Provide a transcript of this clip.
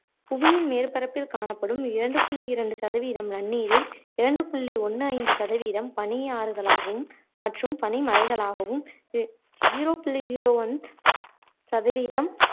புவியின் மேர்ப்பரப்பில் காணப்படும் இரண்டு புள்ளி இரண்டு சதவீதம் நன்னீரில் இரண்டு புள்ளி ஒண்ணு ஐந்து சதவீதம் பனியாறுகளாகவும் மற்றும் பனிமலைகளாகவும் zero புள்ளி zero one சதவீதம்